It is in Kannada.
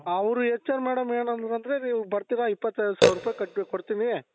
ಅವರು HR madam ಏನoದ್ರು ಅಂದ್ರೆ ನೀವು ಬರ್ತೀರಾ ಇಪ್ಪತ್ತೈದು ಸಾವಿರ ರೂಪಾಯಿ ಕಟ್ಟು ಕೊಡ್ತೀನಿ